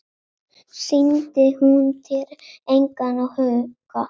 Sýndi hún þér engan áhuga?